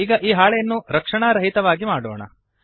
ಈಗ ಈ ಹಾಳೆಯನ್ನು ರಕ್ಷಣಾರಹಿತವಾಗಿ ಮಾಡೋಣ